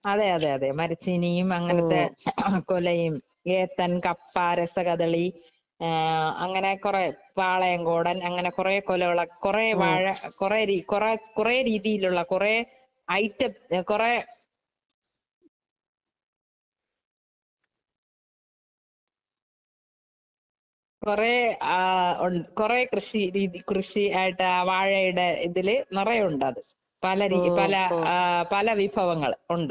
അതെയതെയതെ, മരച്ചീനിയും, അങ്ങനത്തെ കൊലയും, ഏത്തന്‍, കപ്പ , രസ കദളി അങ്ങനെ കൊറേ. പാളയംകോടന്‍ അങ്ങനെ കൊറേ കൊലകളൊക്കെ കൊറേ വാഴ കൊറേ രീ, കൊറേ രീതിയിലുള്ള കൊറേ ഐറ്റം കൊറേ കൊറേ കൃഷിയായിട്ടു വാഴയുടെ ഇതില് നെറയെ ഉണ്ടാകും.പലരീ പല പല വിഭവങ്ങള്‍ ഉണ്ട് .